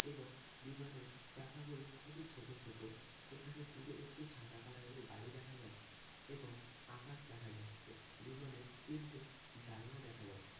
এবং বিমানের চাকাগুলো খুবই ছোট ছোট। এখানে দুটো একটি সাদা কালার -এর গাড়ি দেখা যাচ্ছে এবং আকাশ দেখা যাচ্ছে। বিমানের তিনটে জানলা দেখা যাচ্ছে।